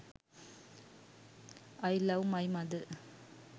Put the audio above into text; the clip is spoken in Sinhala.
i love my mother